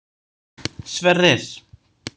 Sverrir